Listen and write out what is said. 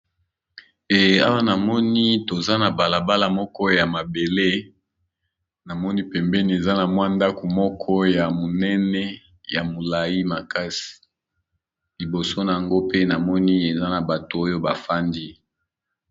Ee awa namoni toza na bala bala moko ya mabele namoni pembeni eza na mwa ndako moko ya monene ya molai makasi, liboso na yango pe namoni eza na bato oyo ba fandi.